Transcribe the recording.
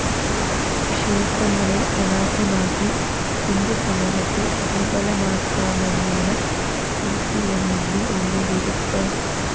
ക്ഷേത്രങ്ങളെ അനാഥമാക്കി ഹിന്ദുസമൂഹത്തെ ദുര്‍ബലമാക്കാമെന്നാണ് സിപിഎമ്മിന്റെ ഉള്ളിലിരുപ്പ്